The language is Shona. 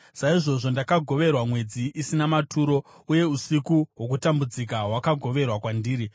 saizvozvo ndakagoverwa mwedzi isina maturo, uye usiku hwokutambudzika hwakagoverwa kwandiri.